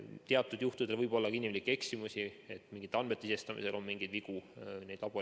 Teatud juhtudel võib olla ka inimlikke eksimusi, et mingite andmete sisestamisel on mingeid vigu.